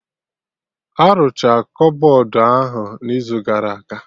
Arụcha kọbọd ahụ n'izu gara aga